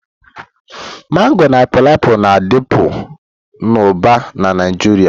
Mango na painiapulu, na-adịbu na Uba na Naịjirịa.